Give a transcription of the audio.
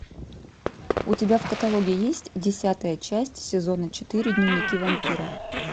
у тебя в каталоге есть десятая часть сезона четыре дневники вампира